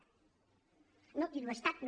no diu estat no